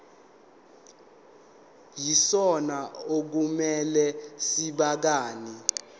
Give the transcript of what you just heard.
yisona okumele sibhekane